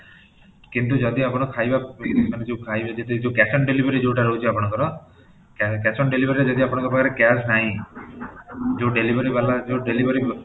କିନ୍ତୁ ଯଦି ଆପଣ ଖାଇବା ମାନେ ଯୋଉ ଖାଇବା ଭିତରେ ଯୋଉ cash on delivery ଯୋଉଟା ରହୁଛି ଆପଣଙ୍କର cash on delivery ରେ ଯଦି ଆପଣଙ୍କ ପାଖରେ cash ନାହିଁ, ଯୋଉଁ delivery ଵାଲା ଯୋଉଁ delivery